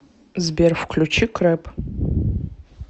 сбер включи крэп